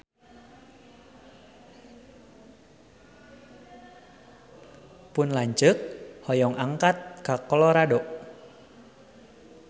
Pun lanceuk hoyong angkat ka Colorado